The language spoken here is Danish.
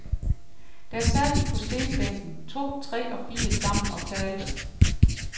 Der sad vi på stenbænken, to, tre og fire sammen og talte.